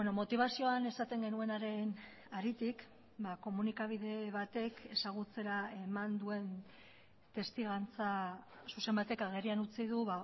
motibazioan esaten genuenaren aritik komunikabide batek ezagutzera eman duen testigantza zuzen batek agerian utzi du